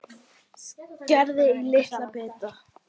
Skerið í litla bita.